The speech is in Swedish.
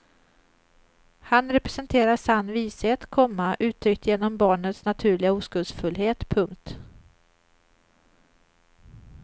Han representerar sann vishet, komma uttryckt genom barnets naturliga oskuldsfullhet. punkt